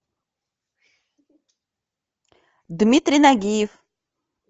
дмитрий нагиев